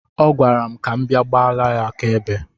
Ọ gwara m ka m bịa gbala ya aka ebe.